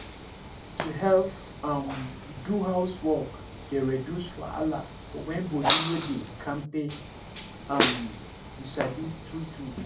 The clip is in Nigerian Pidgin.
to help for house dey push dem to do better if na person wey care dey run am ehn